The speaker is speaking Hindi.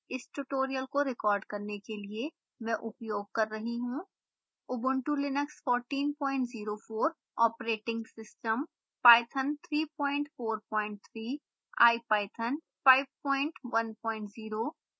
इस tutorial को record करने के लिए मैं उपयोग कर रही हूँ